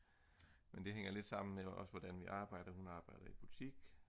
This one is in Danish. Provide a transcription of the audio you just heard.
men det hænger lidt sammen med også hvordan vi arbejder hun arbejder i butik